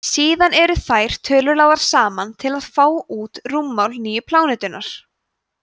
síðan eru þær tölur lagðar saman til að fá út rúmmál nýju plánetunnar